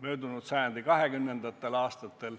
möödunud sajandi 20. aastatel.